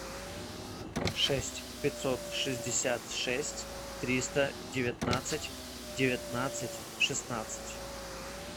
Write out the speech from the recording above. шесть пятьсот шестьдесят шесть триста девятнадцать девятнадцать шестнадцать